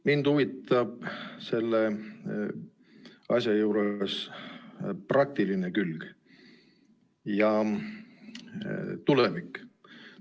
Mind huvitab selle asja juures praktiline külg ja tulevik.